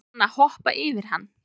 Á hann að hoppa yfir hann?